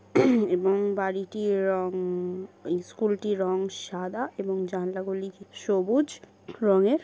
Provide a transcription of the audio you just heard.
এবং বাড়িটির রঙ ইস্কুল -টির রঙ সাদা এবং জানালা গুলি সবুজ রঙের।